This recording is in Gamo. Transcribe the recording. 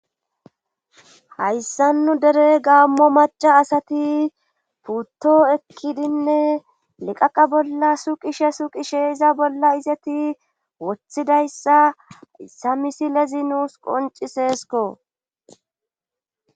Hayssa nu dere gaammo maca asati putto ekkidinne liqaqa bolla suqishe suqishe iza bolla izeti wothidayssa samisi lezi nuus qonciseesko.